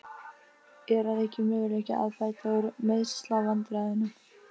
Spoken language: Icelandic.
Er að auki möguleiki á að bæta úr meiðslavandræðunum?